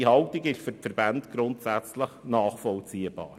Diese Haltung ist für die Verbände grundsätzlich nachvollziehbar.